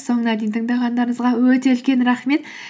соңына дейін тыңдағандарыңызға өте үлкен рахмет